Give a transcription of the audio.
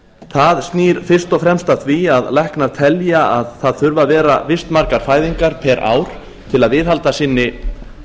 það snýr fyrst og fremst að því að læknar telja að það þurfi að vera visst margar fæðingar per ár til þess að viðhalda sinni